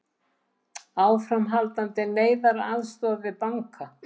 Áframhaldandi neyðaraðstoð við banka